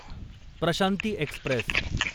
Prashanti Express